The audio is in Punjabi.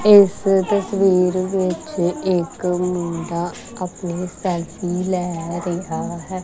ਇੱਸ ਤਸਵੀਰ ਵਿੱਚ ਇੱਕ ਮੁੰਡਾ ਆਪਣੀ ਸਾਈਕਲ ਲਏ ਰਿਹਾ ਹੈ।